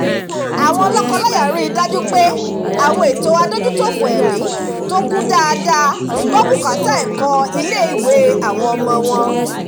àwọn lọ́kọ-láya rí i dájú pé àwọn ètò adójútòfò ẹ̀mí tó kún dáadáa gbọ́ bùkátà ẹ̀kọ́ ilé-ìwé àwọn ọmọ wọn